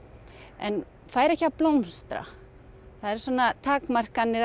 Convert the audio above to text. en fær ekki að blómstra það eru svona takmarkanir